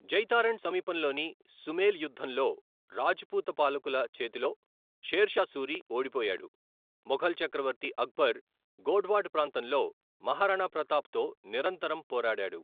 జైతారణ్ సమీపంలోని సుమేల్ యుద్ధంలో రాజపూత్ పాలకుల చేతిలో షేర్ షా సూరి ఓడిపోయాడు, మొఘల్ చక్రవర్తి అక్బర్ గోడ్వాడ్ ప్రాంతంలో మహారాణా ప్రతాప్ తో నిరంతరం పోరాడాడు.